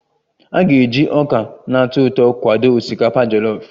A ga-eji ọka na-atọ ụtọ kwado osikapa jọlọf